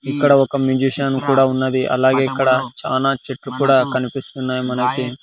ఇక్కడ ఒక మ్యూజీషియన్ కూడా ఉన్నది అలాగే ఇక్కడ చానా చెట్లు కూడా కనిపిస్తున్నాయి మనకి.